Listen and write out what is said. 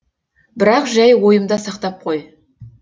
бірақ жай ойымда сақтап қой